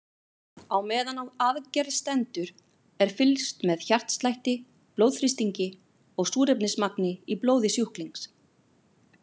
Á meðan á aðgerð stendur er fylgst með hjartslætti, blóðþrýstingi og súrefnismagni í blóði sjúklings.